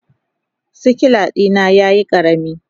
sikila dina yayi karami.